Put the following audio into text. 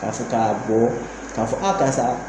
fɔ k'a bɔ k'a fɔ a karisa